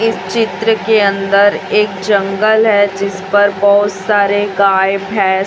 इस चित्र के अंदर एक जंगल है जिस पर बहुत सारे गाय भैंस--